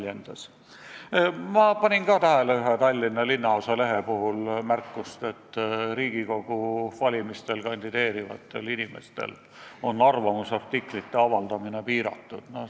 Samas ma panin tähele ühe Tallinna linnaosa lehe puhul märkust, et Riigikogu valimistel kandideerivatel inimestel on arvamusartiklite avaldamine piiratud.